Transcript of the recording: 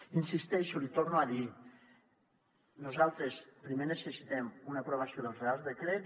hi insisteixo l’hi torno a dir nosaltres primer necessitem una aprovació dels reials decrets